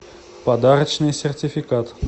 подарочный сертификат